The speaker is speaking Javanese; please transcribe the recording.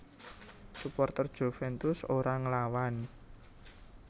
Suporter Juventus ora nglawan